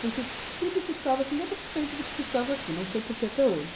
Porque tudo custava cinquenta orr cento do que custava aqui, não sei por que até hoje.